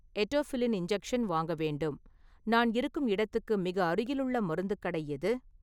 Etofylline injection வாங்க வேண்டும், நான் இருக்கும் இடத்துக்கு மிக அருகிலுள்ள மருத்து கடை எது?